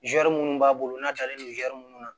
Zɛrimun b'a bolo n'a taalen don minnu na